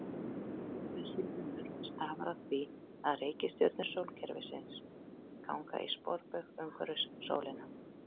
Þessi munur stafar af því að reikistjörnur sólkerfisins ganga í sporbaug umhverfis sólina.